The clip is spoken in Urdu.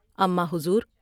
اماں حضور!